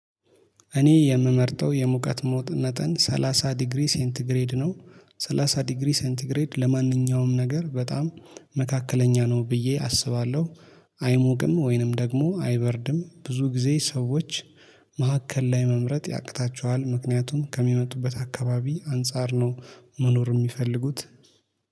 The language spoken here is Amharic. እኔ የምመርጠው የሙቀት መጠን 30 ዲግሪ ሴንት ግሬድ ነው። 30 ዲግሪ ሴንት ግሬድ ለማንኛውም ነገር በጣም መካከለኛ ነው ብዬ አስባለሁ። አይሞቅም ወይንም ደግሞ አይበርድም ብዙ ጊዜ ሰዎች መካከል ላይ መምረጥ ያቅታቸዋል። ምክንያቱም ከሚመጡበት አካባቢ አንፃር ነው። መኖር የሚፈልጉት